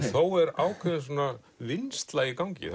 þó er ákveðin vinnsla í gangi